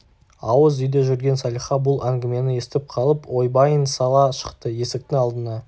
ауыз үйде жүрген салиха бұл әңгімені естіп қалып ойбайын сала шықты есіктің алдына